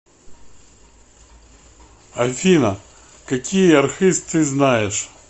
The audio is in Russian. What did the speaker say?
афина какие архыз ты знаешь